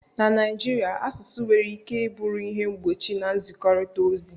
na Naijiria, asụsụ nwere ike bụrụ ihe mgbochi na nzikọrịta ozi